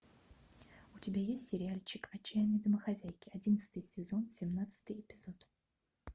у тебя есть сериальчик отчаянные домохозяйки одиннадцатый сезон семнадцатый эпизод